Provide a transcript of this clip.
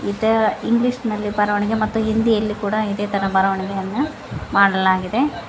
The English ನಲ್ಲಿ ಬರವಣಿಗೆ ಮತ್ತು ಹಿಂದಿಯಲ್ಲಿ ಕೂಡ ಇದೇ ತರ ಬರವಣಿಗೆಯನ್ನ ಮಾಡಲಾಗಿದೆ.